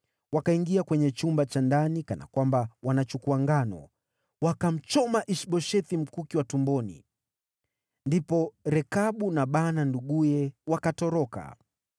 Wakaingia kwenye chumba cha ndani kana kwamba wanachukua ngano, wakamchoma Ish-Boshethi mkuki wa tumboni. Ndipo Rekabu na Baana nduguye wakatoroka.